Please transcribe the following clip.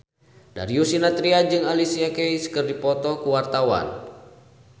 Darius Sinathrya jeung Alicia Keys keur dipoto ku wartawan